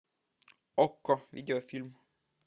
окко видеофильм